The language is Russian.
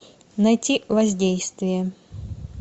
найти воздействие